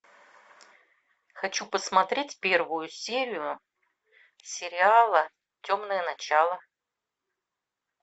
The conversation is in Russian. хочу посмотреть первую серию сериала темные начала